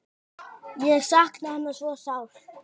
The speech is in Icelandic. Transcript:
Ég sakna hennar svo sárt.